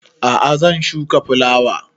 A'a zan shuka fulawa